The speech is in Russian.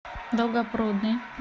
долгопрудный